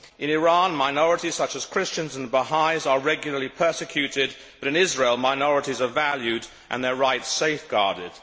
In Iran, minorities such as Christians and Bahá'ís are regularly persecuted, but in Israel minorities are valued and their rights safeguarded.